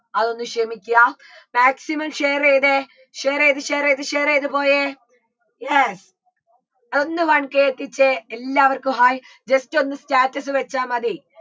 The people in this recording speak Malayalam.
അതൊന്ന് ക്ഷമിക്യ maximum share യ്തേ share യ്ത് share യ്ത് share യ്ത് പോയേ yes ഒന്ന് വന്ന് കേൾപ്പിച്ചേ എല്ലാവർക്കും hai just ഒന്ന് status വെച്ചാ മതി